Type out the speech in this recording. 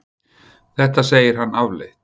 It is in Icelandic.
Þetta segir hann afleitt.